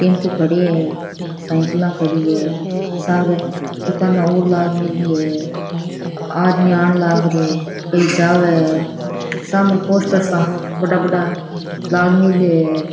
Tempo ( खड़या है साईकला खड़ी है सारे दुकाना और लाग मेली है आदमी आन लाग रिया है कोई जावे है सामे पोस्टर सा बड़ा बड़ा लाग मेल्या है।